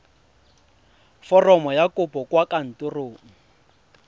foromo ya kopo kwa kantorong